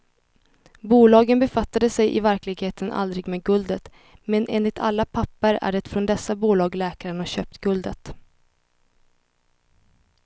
Bolagen befattade sig i verkligheten aldrig med guldet, men enligt alla papper är det från dessa bolag läkaren har köpt guldet.